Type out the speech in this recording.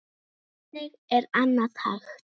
Hvernig er annað hægt?